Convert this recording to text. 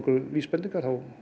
vísbendingar þá